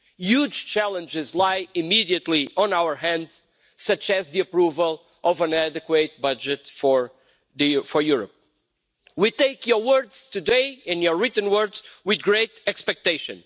Huge challenges lie immediately on our hands, such as the approval of an adequate budget for Europe. We take your words today, in your written words, with great expectation.